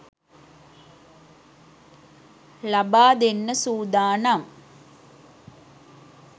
ලබා දෙන්න සූදානම්.